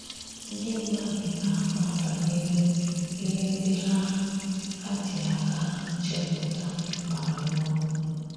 Ndị mmádụ na-amà banyere íhè ndị hà hà jì àká hà chèpụ̀tà mà rùọ.